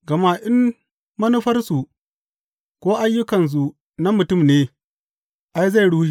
Gama in manufarsu ko ayyukansu na mutum ne, ai, zai rushe.